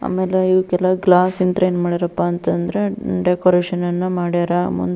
ಆಮೇಲೆ ಇವು ಕೆಲವ್ ಗ್ಲಾಸ್ ಅಂತ ಅಂದ್ರೆ ಏನ್ ಮಾಡ್ಯಾರಪ್ಪಾ ಅಂದ್ರೆ ಡೆಕೋರೇಷನ್ ಅನ್ನು ಮಾಡ್ಯಾರ ಮುಂದೆ.